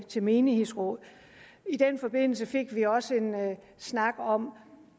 til menighedsråd i den forbindelse fik vi os også en snak om